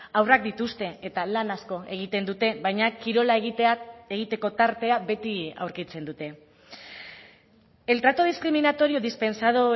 haurrak dituzte eta lan asko egiten dute baina kirola egiteko tartea beti aurkitzen dute el trato discriminatorio dispensado